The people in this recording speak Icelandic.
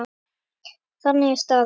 Þannig er staðan.